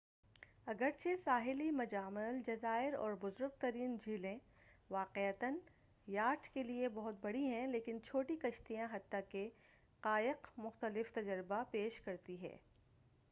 اگرچہ ساحلی مجامع الجزائر اور بزرگ ترین جھیلیں واقعتا یاٹ کے لئے بہت بڑی ہیں لیکن چھوٹی کشتیاں حتی کہ قایق مختلف تجربہ پیش کرتی ہیں